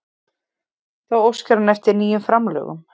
Þá óskar hann eftir nýjum framlögum